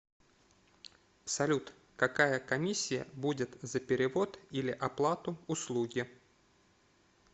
салют какая комиссия будет за перевод или оплату услуги